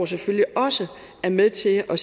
selvfølgelig også er med til at